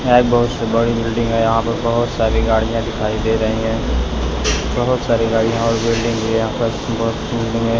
यहां एक बहुत सी बड़ी बिल्डिंग है यहां पर बहुत सारी गाड़ियां दिखाई दे रही हैं बहुत सारी गाड़ियां और बिल्डिंग भी यहां पर बहुत बिल्डिंग है।